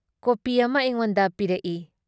Copy ꯑꯃ ꯑꯩꯉꯣꯟꯗ ꯄꯤꯔꯛꯏ ꯫